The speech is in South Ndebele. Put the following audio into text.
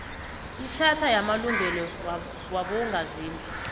itjhatha yamalungelo wabongazimbi